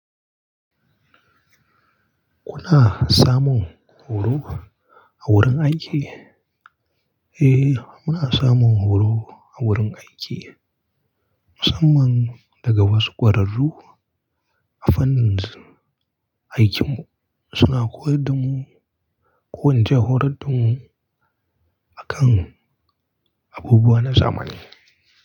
Kuna samun horo a wurin aiki? Eh, muna samun horo a wurin aiki musamman daga wasu ƙwararru a fannin aikinmu suna koyar da mu, ko ince horon mu akan abubuwa na zamani.